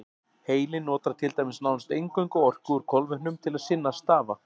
Heilinn notar til dæmis nánast eingöngu orku úr kolvetnum til sinna stafa.